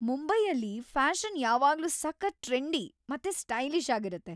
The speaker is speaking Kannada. ಮುಂಬೈಯಲ್ಲಿ ಫ್ಯಾಷನ್‌ ಯಾವಾಗ್ಲೂ ಸಖತ್ ಟ್ರೆಂಡಿ ಮತ್ತೆ ಸ್ಟೈಲಿಷ್ ಆಗಿರತ್ತೆ.